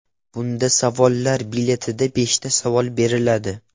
Bunda savollar biletida beshta savol beriladi.